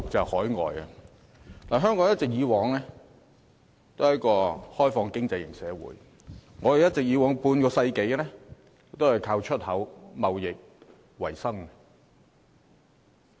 香港一直是一個開放型經濟社會，過去半個世紀以來，都是靠出口貿易為生。